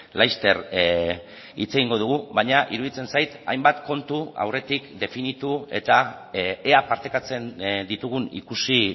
laster hitz egingo dugu baina iruditzen zait hainbat kontu aurretik definitu eta ea partekatzen ditugun ikusi